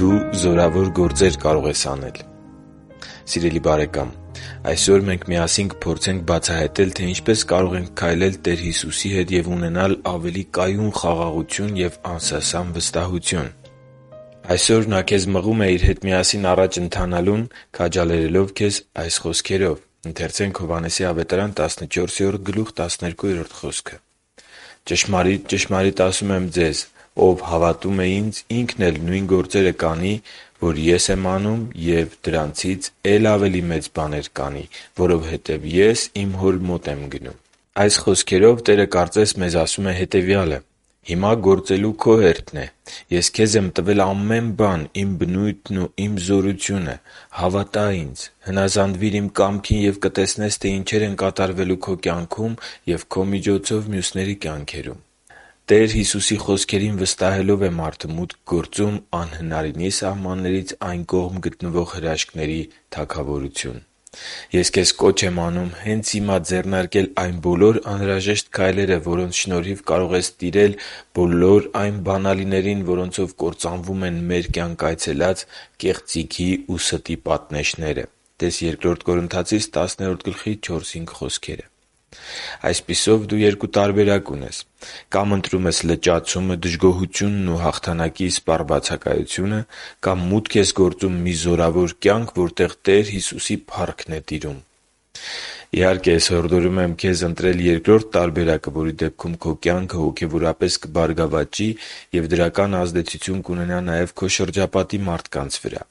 Դու զորավոր գործեր կարող ես անել․․․ Սիրելի՛ բարեկամ, այսօր մենք միասին կփորձենք բացահայտել, թե ինչպես կարող ենք քայլել Տեր Հիսուսի հետ և ունենալ ավելի կայուն խաղաղություն և անսասան վստահություն։ Այսօր Նա քեզ մղում է Իր հետ միասին առաջ ընթանալուն՝ քաջալերելով քեզ այս խոսքերով. «Ճշմարիտ, ճշմարիտ եմ ասում ձեզ. ով հավատում է Ինձ, ինքն էլ նույն գործերը կանի, որ Ես եմ անում, և դրանցից է՛լ ավելի մեծ բաներ կանի, որովհետև Ես Իմ Հոր մոտ եմ գնում» (Հովհաննես 14․12)։ Տերը կարծես ասում է մեզ հետևյալը. «Հիմա գործելու քո հերթն է։ Ես քեզ տվել եմ ամեն բան. Իմ բնույթն ու Իմ զորությունը։ Հավատա՛ Ինձ, հնազանդվի՛ր Իմ կամքին և կտեսնես, թե ինչեր են կատարվելու քո կյանքում և քո միջոցով՝ մյուսների կյանքում»։ Տեր Հիսուսի խոսքերին վստահելով է մարդը մուտք գործում «անհնարինի սահմաններից այն կողմ» գտնվող հրաշքների թագավորություն։ Ես քեզ կոչ եմ անում հենց հիմա ձեռնարկել այն բոլոր անհրաժեշտ քայլերը, որոնց շնորհիվ կարող ես տիրել բոլոր այն բանալիներին, որոնցով կործանվում են մեր կյանք այցելած կեղծիքի ու ստի պատնեշները… (Տե՛ս Բ Կորնթացիս 10․4-5 հատվածը)։ Այսպիսով, դու երկու տարբերակ ունես. - Կամ ընտրում ես լճացումը, դժգոհությունն ու հաղթանակի իսպառ բացակայությունը, - Կամ մուտք ես գործում մի զորավոր կյանք, որտեղ Տեր Հիսուսի փառքն է տիրում։ Իհարկե, ես հորդորում եմ քեզ ընտրել երկրորդ տարբերակը, որի դեպքում քո կյանքը կբարգավաճի և դրական ազդեցություն կունենա նաև քո շրջապատի մարդկանց վրա։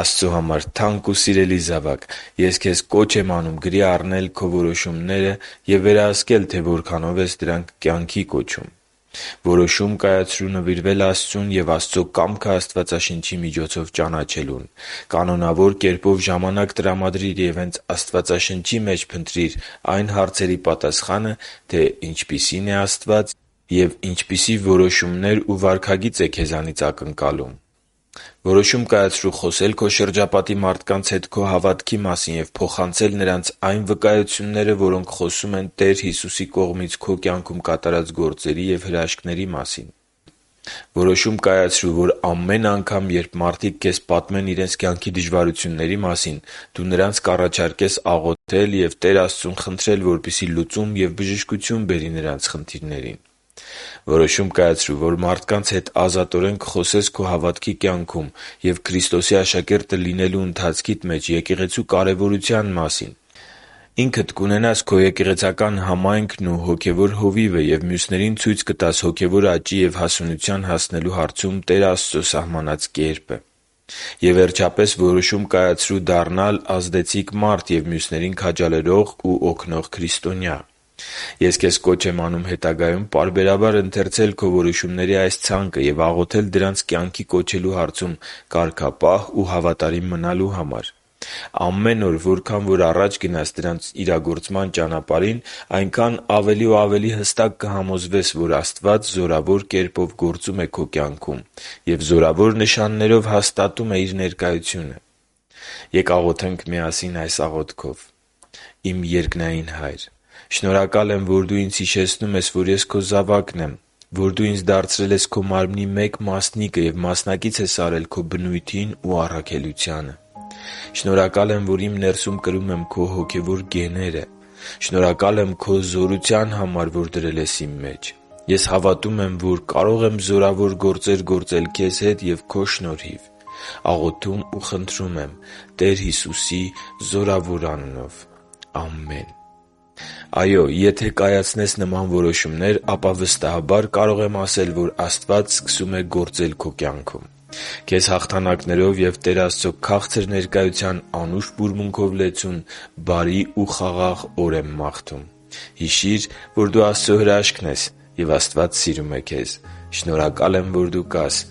Աստծո համար թանկ ու սիրելի՛ զավակ, ես քեզ կոչ եմ անում գրի առնել քո որոշումները և վերահսկել, թե որքանով ես դրանք կյանքի կոչում․ - Որոշում կայացրո՛ւ նվիրվել Աստծուն և Աստծո կամքը Աստվածաշնչի միջոցով ճանաչելուն։ Կանոնավոր կերպով ժամանակ տրամադրի՛ր և հե՛նց Աստվածաշնչի մեջ փնտրիր այն հարցերի պատասխանը, թե ինչպիսին է Աստված և ինչպիսի որոշումներ ու վարքագիծ է քեզնից ակնկալում։ - Որոշում կայացրո՛ւ խոսել քո շրջապատի մարդկանց հետ քո հավատքի մասին և փոխանցել նրանց այն վկայությունները, որոնք խոսում են Տեր Հիսուսի կողմից քո կյանքում կատարած գործերի և հրաշքների մասին։ - Որոշում կայացրո՛ւ, որ ամեն անգամ, երբ մարդիկ քեզ պատմեն իրենց կյանքի դժվարությունների մասին, դու նրանց կառաջարկես աղոթել և Տեր Աստծուն խնդրել, որպեսզի լուծում և բժշկություն բերի նրանց խնդիրներին։ - Որոշում կայացրո՛ւ, որ մարդկանց հետ ազատորեն կխոսես քո հավատքի կյանքում և Քրիստոսի աշակերտը լինելու ընթացքիդ մեջ եկեղեցու կարևորության մասին, ինքդ կունենաս քո եկեղեցական համայնքն ու հոգևոր հովիվը և մյուսներին ցույց կտաս հոգևոր աճի և հասունության հասնելու հարցում Տեր Աստծո սահմանած կերպը։ - Եվ, վերջապես, որոշում կայացրո՛ւ դառնալ ազդեցիկ մարդ և մյուսներին քաջալերող ու օգնող քրիստոնյա։ Ես քեզ կոչ եմ անում հետագայում պարբերաբար ընթերցել քո որոշումների այս ցանկը և աղոթել դրանց կյանքի կոչելու հարցում կարգապահ ու հավատարիմ մնալու համար։ Ամեն օր, որքան որ առաջ գնաս դրանց իրագործման ճանապարհին, այնքան ավելի ու ավելի հստակ կհամոզվես, որ Աստված զորավոր կերպով գործում է քո կյանքում և զորավոր նշաններով հաստատում է Իր ներկայությունը։ Ե՛կ աղոթենք միասին այս աղոթքով․ «Իմ երկնային Հա՛յր, շնորհակալ եմ, որ Դու ինձ հիշեցնում ես, որ ես Քո զավակն եմ, որ Դու ինձ դարձրել ես Քո Մարմնի մեկ մասնիկը և մասնակից ես արել Քո բնույթին ու առաքելությանը։ Շնորհակալ եմ, որ իմ ներսում կրում եմ Քո հոգևոր գեները։ Շնորհակալ եմ Քո զորության համար, որ դրել ես իմ մեջ։ Ես հավատում եմ, որ կարող եմ զորավոր գործեր գործել Քեզ հետ և Քո շնորհիվ։ Աղոթում ու խնդրում եմ Տեր Հիսուսի զորավոր անունով։ Ամե՛ն»։ Այո՛, եթե կայացնես նման որոշումներ, ապա վստահաբար կարող եմ ասել, որ Աստված սկսում է գործել քո կյանքում։ Քեզ հաղթանակներով և Տեր Աստծո քաղցր ներկայության անուշ բուրմունքով լեցուն բարի ու խաղաղ օր եմ մաղթում։ Հիշի՛ր, որ դու Աստծո հրաշքն ես, և Աստված սիրում է քեզ։ Շնորհակալ եմ, որ դու կա՛ս